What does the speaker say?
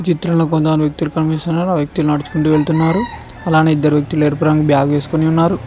చిత్రంలో కొంతమంది వ్యక్తులు కనిపిస్తున్నారు నడుచుకుంటూ వెళ్తున్నారు అలానే ఇద్దరు పురం చేసుకొని ఉన్నారు.